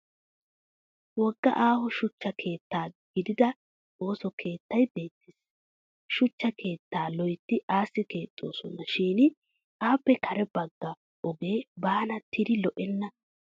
Wogga aaho shuchcha keettaa gidida ooso keettay beettes. Shuchcha keettaa loytti aassi keexxoosona shin appe kare bagga ogee baanattidi lo'enna.